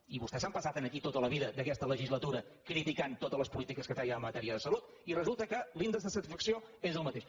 i vostès s’han passat aquí tota la vida d’aquesta legislatura criticant totes les polítiques que fèiem en matèria de salut i resulta que l’índex de satisfacció és el mateix